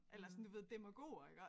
Eller sådan du ved demagoger iggå